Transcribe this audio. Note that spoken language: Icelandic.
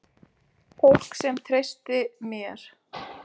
Fólk sem treysti mér.